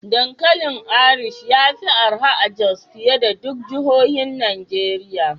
Dankalin Irish ya fi arha a Jos fiye da duk jihohin Najeriya.